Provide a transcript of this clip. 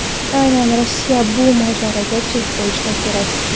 Aynan Rossiya bu mojaroga chek qo‘yishi kerak.